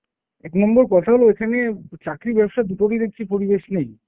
এক নম্বর কথা হলো এখানে চাকরি, ব্যবসা দুটোরই দেখছি পরিবেশ নেই।